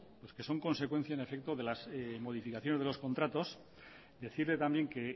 pues que son consecuencia en efecto de las modificaciones de los contratos decirle también que